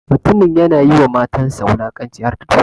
Mutumin ya na yi ma matansa wulakanci harda duka.